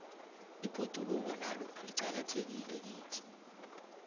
ibhoduloko nalo liqakathekile kithi